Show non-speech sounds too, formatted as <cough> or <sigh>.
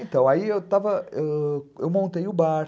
<laughs> Então, aí eu montei o bar.